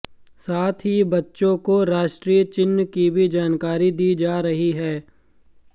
साथ ही बच्चों को राष्ट्रीय चिह्न की भी जानकारी दी जा रही है